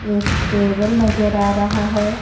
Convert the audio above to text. एक टेबल नजर आ रहा है.